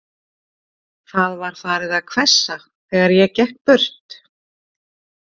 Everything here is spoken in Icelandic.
Það var farið að hvessa, þegar ég gekk burt.